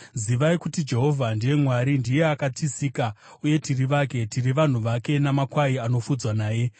Zivai kuti Jehovha ndiye Mwari. Ndiye akatisika, uye tiri vake; tiri vanhu vake, namakwai anofudzwa naye.